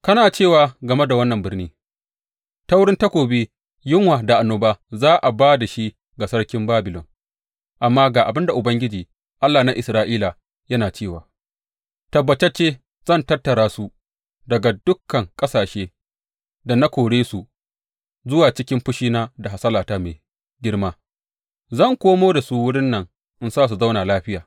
Kana cewa game da wannan birni, Ta wurin takobi, yunwa da annoba za a ba da shi ga sarkin Babilon’; amma ga abin da Ubangiji, Allah na Isra’ila yana cewa tabbatacce zan tattara su daga dukan ƙasashen da na kore su zuwa cikin fushina da hasalata mai girma; zan komo da su wurin nan in sa su zauna lafiya.